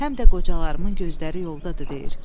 Həm də qocalarımın gözləri yoldadır deyir.